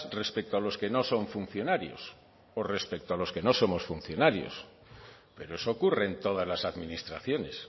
respecto a los que no son funcionarios o respecto a los que no somos funcionarios pero eso ocurre en todas las administraciones